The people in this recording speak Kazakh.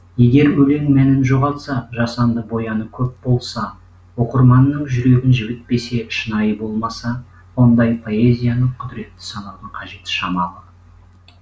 егер өлең мәнін жоғалтса жасанды бояуы көп болса оқырманның жүрегін жібітпесе шынайы болмаса ондай поэзияны құдіретті санаудың қажеті шамалы